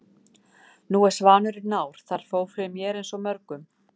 Nú er svanurinn nár. það fór fyrir mér eins og mörgum.